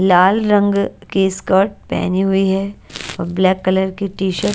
लाल रंग के स्कर्ट पहनी हुई है और ब्लैक कलर की टी शर्ट --